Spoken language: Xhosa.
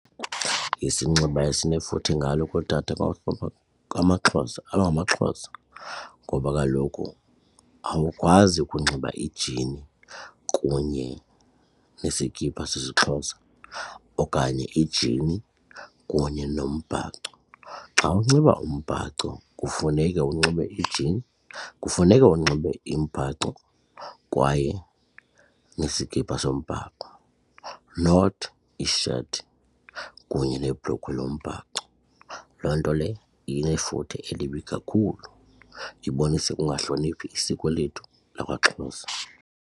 Isinxibo esinefuthe ngalo kootata amaXhosa abangamaXhosa ngoba kaloku awukwazi ukunxiba injini kunye nesikipha sesiXhosa okanye injini kunye nombhaco. Xa unxiba umbhaco kufuneke unxibe injini, kufuneke unxibe umbhaco kwaye nesikipa sombhaco not isheti kunye nebhulukhwe yombhaco. Loo nto leyo inefuthe elibi kakhulu ibonisa ukungahloniphi isiko lethu lakwaXhosa.